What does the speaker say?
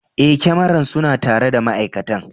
Eh, kyamaran suna tare da ma'aikatan.